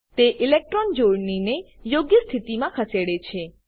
તે ઇલેક્ટ્રોન જોડણીને યોગ્ય સ્થિતિમાં ખસેડે છે